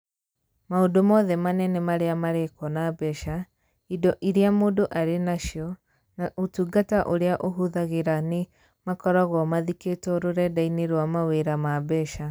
Maũndũ mothe manene marĩa marekwo na mbeca, indo iria mũndũ arĩ nacio, na ũtungata ũrĩa ahũthagĩra nĩ makoragwo mathikĩtwo rũrenda-inĩ rwa mawĩra ma mbeca.